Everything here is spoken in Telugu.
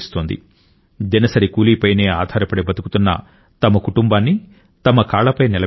దినసరి కూలీపైనే ఆధారపడి బతుకుతున్న తమ కుటుంబాన్ని తమ కాళ్లపై నిలబెట్టింది